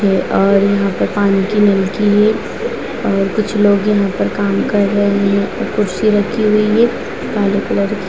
है और यहाँ पर पानी की नलकी है और कुछ लोग यहाँ पे काम कर रहे हैं और कुर्सी राखी हुई है काले कलर की ---